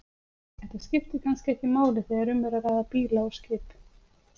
Þetta skiptir kannski ekki máli þegar um er að ræða bíla og skip.